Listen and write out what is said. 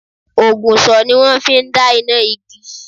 Ògùsò ni wón fi n dá iná igi